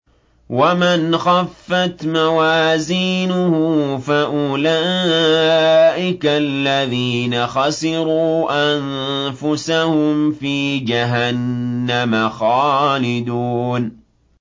وَمَنْ خَفَّتْ مَوَازِينُهُ فَأُولَٰئِكَ الَّذِينَ خَسِرُوا أَنفُسَهُمْ فِي جَهَنَّمَ خَالِدُونَ